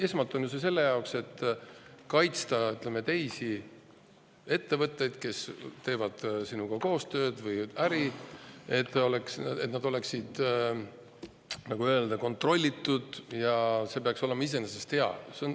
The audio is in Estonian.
Esmalt on audit vajalik ju selleks, et kaitsta teisi ettevõtteid, kes teevad sinuga koostööd või äri, et nad oleksid kontrollitud, ja see peaks olema iseenesest hea.